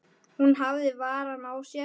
Hún hafði varann á sér.